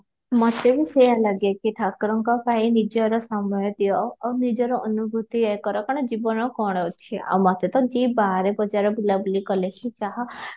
ମୋତେ ବି ସେୟା ଲାଗେ କି ଠାକୁରଙ୍କ ପାଇଁ ନିଜର ସମୟ ଦିଅ, ଆଉ ନିଜର ଅନୁଭୂତି ୟେ କର କାରଣ ଜୀବନରେ କ'ଣ ଅଛି ଆଉ ମୋତେ ତ ଯିଏ ବାହାରେ ବଜାର ବୁଲା ବୁଲି କଲେ ହିଁ ତାହା